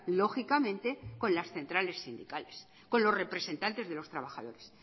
lógicamente con las centrales sindicales con los representantes de los trabajadores